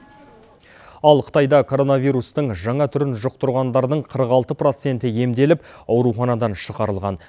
ал қытайда коронавирустың жаңа түрін жұқтырғандардың қырық алты проценті емделіп ауруханадан шығарылған